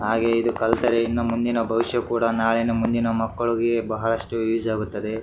ಹಾಗೆ ಇದು ಕಲಿತರೆ ಇನ್ನು ಮುಂದಿನ ಭವಿಷ್ಯ ಕೂಡ ನಾಳಿನ ಮುಂದಿನ ಮಕ್ಕಳಿಗೆ ಬಹಳಷ್ಟು ಈಜಿ ಆಗುತ್ತೆ.